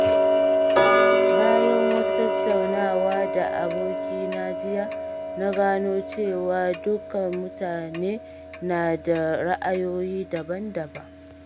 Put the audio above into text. Bayan wata tattaunawa da abokina jiya, na gano cewa dukan mutane na da ra'ayoyi daban-daban.